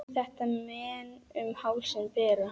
Þetta menn um hálsinn bera.